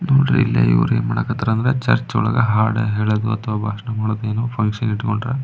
ನೋಡ್ರಿ ಇವರು ಏನ್ ಮಾಕಥಾರ ಅಂದ್ರೆ ಚರ್ಚ್ ಒಳಗೆ ಹಾಡು ಹೇಳದು ಬಾಷಣ ಮಾಡದು ಏನೋ ಫುನ್ಕ್ಷನ್ ಇಟ್ಟುಕೊಂಡರೆ--